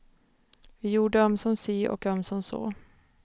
Vi gjorde ömsom si och ömsom så.